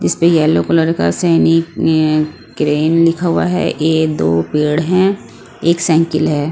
इस पे yellow colour का सैनिक अ क्रेन लिखा हुआ है ये दो पेड़ हैं एक साइकिल है।